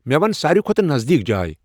مے ون ساروٕے کھۄتہٕ نزدیک جاے ۔